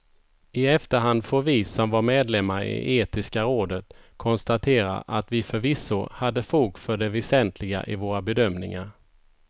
I efterhand får vi som var medlemmar i etiska rådet konstatera att vi förvisso hade fog för det väsentliga i våra bedömningar.